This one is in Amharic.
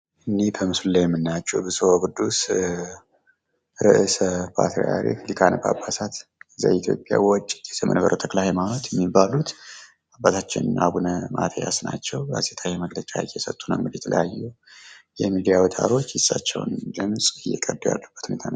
እኒህ በምስሉ ላይ የምንመልከታቸው ብጹዕ ወቅዱስ ዘመንበረ-ተክለ-ሃይማኖት ወእጨጌ የሚባሉ አባታችን አቡነ ማቲያስ ናቸው። ጋዜጣዊ መግለጫ እየሰጡ ነው እንግዲህ የተለያየ የሚዲያ አዉታሮች የርሳቸውን ድምጽ እየቀዱ ያሉበት ሁኔታ ነው።